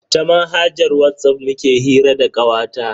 Ta manhajar Whatsapp muke hira da kawata.